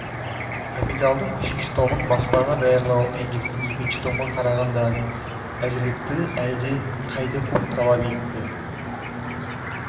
капиталдың үшінші томын баспаға даярлау энгельстен екінші томға қарағанда әзірлікті әлде қайда көп талап етті